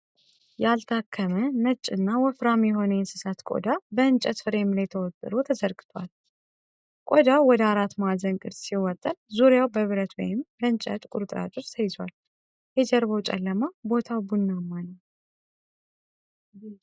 ያልታከመ፣ ነጭ እና ወፍራም የሆነ የእንስሳት ቆዳ በእንጨት ፍሬም ላይ ተወጥሮ ተዘርግቷል። ቆዳው ወደ አራት ማዕዘን ቅርጽ ሲወጠር፣ ዙሪያው በብረት ወይም በእንጨት ቁርጥራጮች ተይዟል። የጀርባው ጨለማ ቦታው ቡናማ ነው።